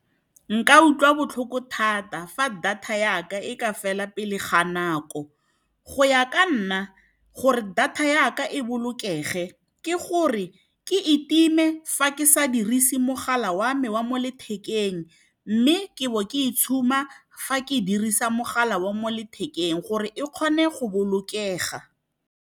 Nka utlwa botlhoko thata fa data yaka e ka fela pele ga nako. Go ya ka nna gore data yaka e bolokege ke gore ke itime fa ke sa dirise mogala wa me wa mo lethekeng, mme ke bo ke itshuma fa ke dirisa mogala wa mo lethekeng gore e kgone go bolokega.